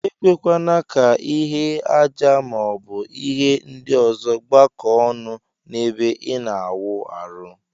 Ekwekwana ka ihe aja ma ọbu ihe ndi ọzọ gbakọ ọnụ na ebe ina awụ arụ.